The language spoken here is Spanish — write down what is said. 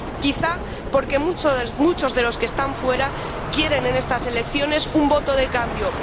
quizá porque muchos de los que están fuera quieren en estas elecciones un voto de cambio.